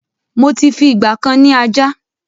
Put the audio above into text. Mó ti fi ìgbàkan ni ajá